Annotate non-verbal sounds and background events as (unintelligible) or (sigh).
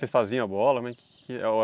Vocês faziam a bola? (unintelligible)